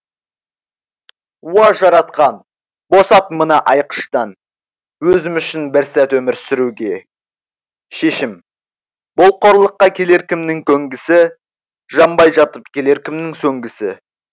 уа жаратқан босат мына айқыштан өзім үшін бір сәт өмір сүруге шешім бұл қорлыққа келер кімнің көнгісі жанбай жатып келер кімнің сөнгісі